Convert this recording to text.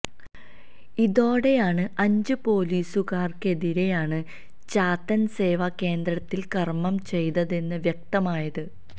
ഇതോടെയാണ് അഞ്ച് പൊലീസുകാർക്കെതിരെയാണ് ചാത്തൻ സേവാ കേന്ദ്രത്തിൽ കർമ്മം ചെയ്തതെന്ന് വ്യക്തമായത്